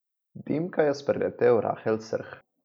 Dimka je spreletel rahel srh.